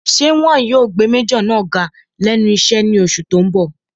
Ṣé wọn yóò gbé májọ̀ náà ga lẹ́nu iṣẹ́ ní oṣù tó n bọ̀?